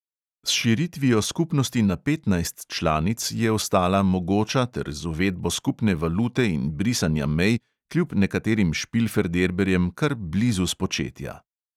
S širitvijo skupnosti na petnajst članic je ostala mogoča ter z uvedbo skupne valute in brisanja mej kljub nekaterim špilferderberjem kar blizu spočetja.